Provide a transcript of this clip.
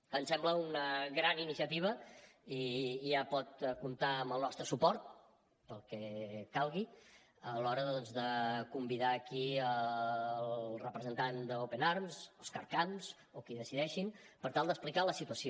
em sembla una gran iniciativa i ja pot comptar amb el nostre suport per al que calgui a l’hora de convidar aquí el representant d’open arms òscar camps o qui decideixin per tal d’explicar la situació